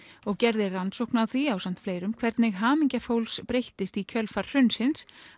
og gerði rannsókn á því ásamt fleirum hvernig hamingja fólks breyttist í kjölfar hrunsins